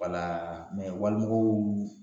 Wala wali mɔgɔw